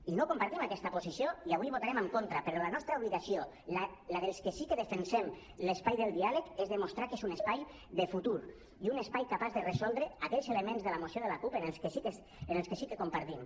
i no compartim aquesta posició i avui hi votarem en contra però la nostra obligació la dels que sí que defensem l’espai del diàleg és demostrar que és un espai de futur i un espai capaç de resoldre aquells elements de la moció de la cup que sí que compartim